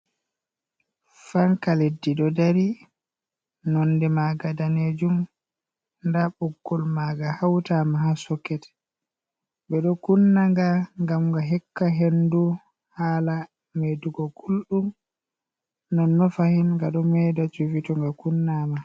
Fanka leddi ɗo dari nonde maga Danejum. nda Ɓuggol maga hautama ha Soket ɓe ɗo Kunnaga ngam nga hokka hendu hala Medugo gulɗum. Non non fahin nga ɗo Meda Cufi to nga Kunnama.